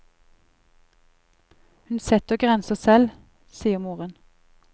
Hun setter grenser selv, sier moren.